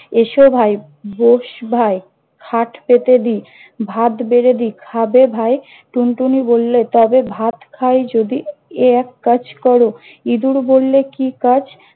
এসো ভাই, বস ভাই, খাট পেতে দি, ভাত বেড়ে দি, খাবে ভাই? টুনটুনি বললে- তবে ভাত খাই যদি এক কাজ কর। ইঁদুর বললে কি কাজ?